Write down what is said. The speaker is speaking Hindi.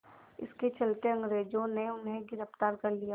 इसके चलते अंग्रेज़ों ने उन्हें गिरफ़्तार कर लिया